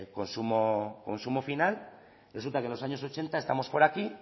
consumo final resulta que en los años ochenta estamos por aquí